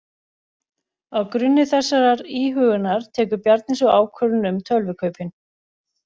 Á grunni þessarar íhugunar tekur Bjarni svo ákvörðun um tölvukaupin.